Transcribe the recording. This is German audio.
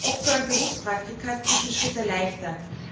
Oft sollen Berufspraktika diesen Schritt erleichtern.